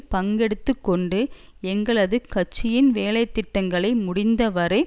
பங்கெடுத்துக்கொண்டு எங்களது கட்சியின் வேலைதிட்டங்களை முடிந்தவரை